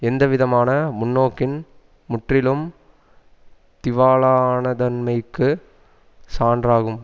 எந்தவிதமான முன்னோக்கின் முற்றிலும் திவாலானதன்மைக்கு சான்றாகும்